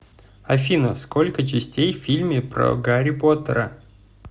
афина сколько частей в фильме про гарри поттера